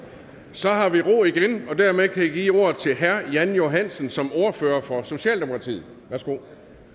så har vi ro igen og dermed kan jeg give ordet til herre jan johansen som ordfører for socialdemokratiet værsgo